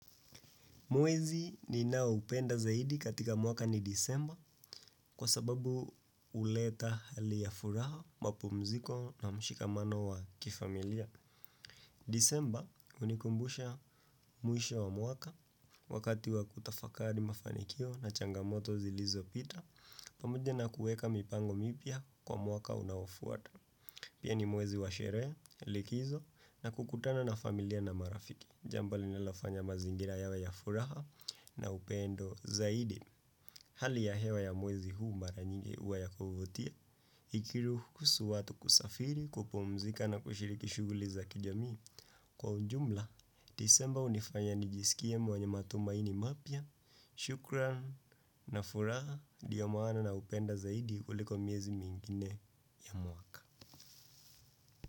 Mwezi ninaoupenda zaidi katika mwaka ni disemba kwa sababu huleta hali ya furaha, mapumziko na mshikamano wa kifamilia. Disemba hunikumbusha mwisho wa mwaka wakati wa kutafakari mafanikio na changamoto zilizopita, pamoja na kuweka mipango mipya kwa mwaka unaofuata. Pia ni mwezi wa sherehe, likizo na kukutana na familia na marafiki. Jambo linilofanya mazingira yawe ya furaha na upendo zaidi. Hali ya hewa ya mwezi huu mara nyingi huwa ya kuvutia. Ikiruhusu watu kusafiri, kupumzika na kushiriki shughuli za kijami. Kwa ujumla, disemba hunifanya nijisikie mwenye matumaini mapya. Shukran na furaha, ndiyo maana naupenda zaidi kuliko miezi mingine ya mwaka.